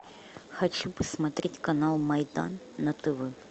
хочу посмотреть канал майдан на тв